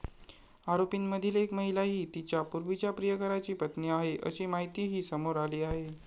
आरोपींमधील एक महिला ही तिच्या पूर्वीच्या प्रियकराची पत्नी आहे, अशी माहितीही समोर आली आहे.